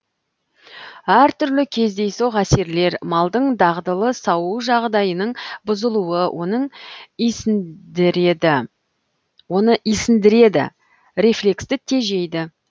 әр түрлі кездейсоқ әсерлер малдың дағдылы сауу жағдайының бұзылуы оны исіндіреді рефлексті тежейді